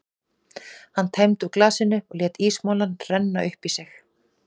Hann tæmdi úr glasinu og lét ísmolann renna upp í sig.